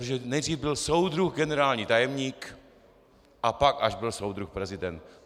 Protože nejdřív byl soudruh generální tajemník a pak až byl soudruh prezident.